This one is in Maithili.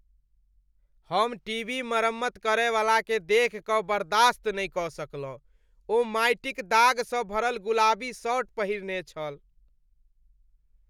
हम टीवी मरम्मत करयवलाकेँ देखि कऽ बर्दाश्त नहि कऽ सकलहुँ। ओ माटि क दाग सँ भरल गुलाबी शर्ट पहिरने छल।